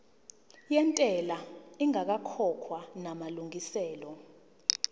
yentela ingakakhokhwa namalungiselo